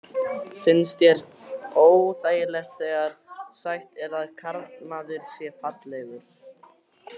Finnst þér óþægilegt þegar sagt er að karlmaður sé fallegur?